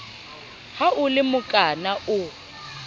ha o le mokana o